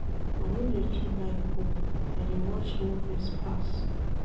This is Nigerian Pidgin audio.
I no dey too like book, I dey watch movies pass.